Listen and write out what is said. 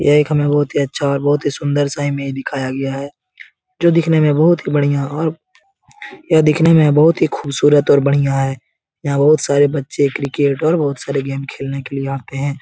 यह एक हमे बहुत ही अच्छा और बहुत ही सुन्दर सा इमेज दिखाया गया है जो दिखने में बहुत ही बढ़िया और यह दिखने में बहुत ही ख़ूबसूरत और बढ़िया है यहाँ बहुत सारे बच्चे क्रिकेट और बहुत सारे गेम खेलने के लिए आते हैं।